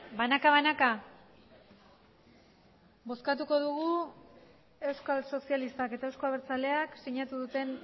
banaka banaka bozkatuko dugu euskal sozialistak eta euzko abertzaleak sinatu duten